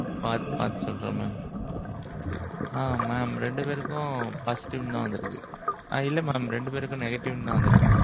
பாத்து பாத்து சொல்றேன் mam. ஆ mam ரெண்டு பேருக்கும் positive னு தான் வந்திருக்கு. ஆ. இல்ல mam ரெண்டு பேருக்கும் negative னு தான் வந்திருக்கு.